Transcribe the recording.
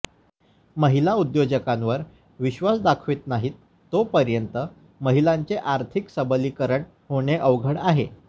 महिला उद्योजकांवर विश्वास दाखवित नाहीत तोपर्यंत महिलांचे आर्थिक सबलीकरण होणे अवघड आहे